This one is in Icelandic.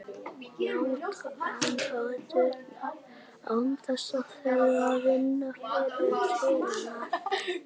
Njóta aðdáunar án þess að þurfa að vinna til hennar.